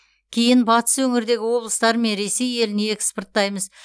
кейін батыс өңірдегі облыстар мен ресей еліне экспорттаймыз